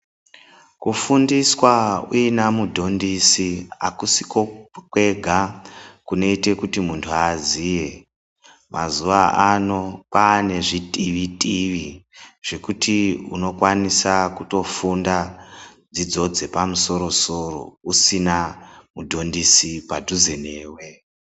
Kufundiswa uina mudhondisi akusiko kwega kunoite kuti munthu aziye, mazuvano kwaane zvitivi tivi zvekuti unokwanisa kutofunda dzidzo dzepamusoro soro usina mudhondisi padhuze newe.